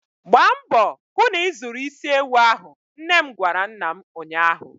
Gba mbọ hụ na ị zụrụ isi ewu ahụ! nnem gwara nna m ụnyaahụ.